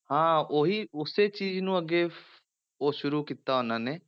ਹਾਂ ਉਹੀ ਉਸੇ ਚੀਜ਼ ਨੂੰ ਅੱਗੇ ਉਹ ਸ਼ੁਰੂ ਕੀਤਾ ਉਹਨਾਂ ਨੇ,